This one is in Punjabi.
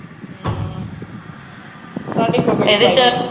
ਅਮ ਤਾਡੇ ਕੋ